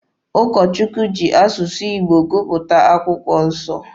Ụkọ Chukwu ji asụsụ Igbo gụpụta akwụkwọ nsọ.